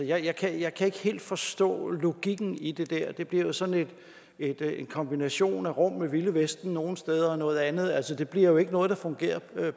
jeg kan jeg kan ikke helt forstå logikken i det der det bliver sådan en kombination af rum med det vilde vesten nogle steder og noget andet rum det bliver jo ikke noget der fungerer